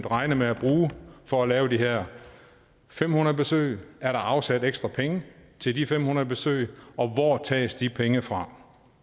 regne med at bruge for at lave de her fem hundrede besøg er der afsat ekstra penge til de fem hundrede besøg og hvor tages de penge fra